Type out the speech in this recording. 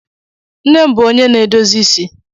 Nne m bụ onye na-edozi isi.